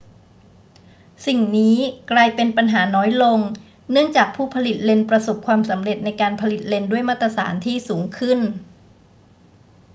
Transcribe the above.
สิ่งนี้กลายเป็นปัญหาน้อยลงเนื่องจากผู้ผลิตเลนส์ประสบความสำเร็จในการผลิตเลนส์ด้วยมาตรฐานที่สูงขึ้น